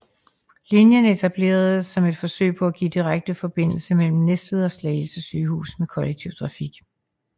Linjen etableredes som et forsøg på at give direkte forbindelse mellem Næstved og Slagelse Sygehus med kollektiv trafik